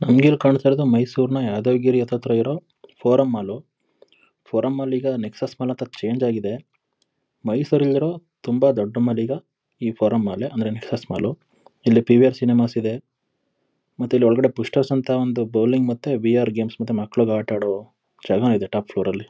ನಂಗಿಲ್ಲಿ ಕಾಣ್ತಿರೋದು ಮೈಸೂರಿನ ಯಾದವಗಿರಿ ಹತ್ರತ್ರ ಇರೋ ಫೋರಮ್ ಮಾಲ್ ಫೋರಮ್ ಮಾಲ್ ಈಗ ನೆಕ್ಸಸ್ ಮಾಲ್ ಹತ್ರ ಚೇಂಜ್ ಆಗಿದೆ ಮೈಸೂರಲ್ಲಿರೋ ತುಂಬಾ ದೊಡ್ಡ ಮಾಲ್ ಈಗ ಈ ಫೋರಮ್ ಮಾಲ್ ಅಂದ್ರೆ ನೆಕ್ಸಸ್ ಮಾಲ್ ಇಲ್ಲಿ ಪಿವಿಆರ್ ಸಿನಿಮಾಸ್ ಇದೆ ಮತ್ತೆ ಇಲ್ಲಿ ಒಳಗಡೆ ಪುಷ್ಟರ್ಸ್ ಅಂತ ಒಂದು ಬೌಲಿಂಗ್ ಮತ್ತೆ ಬಿಆರ್ ಗೇಮ್ಸ್ ಮಕ್ಕಳಿಗೆ ಆಟ ಆಡೋ ಜಾಗ ಇದೆ ಟಾಪ್ ಫ್ಲೋರ್ ಅಲ್ಲಿ.